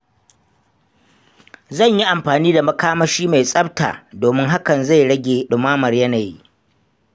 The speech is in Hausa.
Zan yi amfani makamashi mai tsafta domin hakan zai rage ɗumamar yanayi